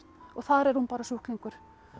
og þar er hún bara sjúklingur